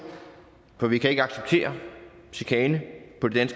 for vi kan ikke acceptere chikane på det